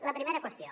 la primera qüestió